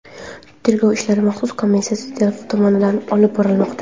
Tergov ishlari maxsus komissiya tomonidan olib borilmoqda.